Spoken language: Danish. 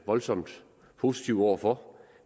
voldsomt positive over for